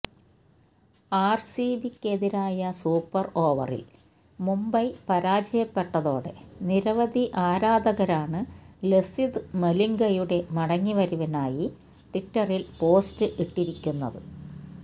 ആര്സിബിക്കെതിരായ super ഓവറില് മുംബൈ പരാജയപ്പെട്ടതോടെ നിരവധി ആരാധകരാണ് ലസിത് മലിംഗയുടെ മടങ്ങിവരവിനായി ട്വിറ്ററില് പോസ്റ്റ് ഇട്ടിരിക്കുന്നത്